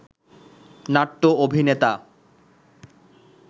নাট্য অভিনেতা